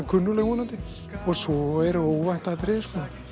kunnugleg vonandi svo eru óvænt atriði